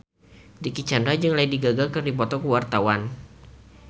Dicky Chandra jeung Lady Gaga keur dipoto ku wartawan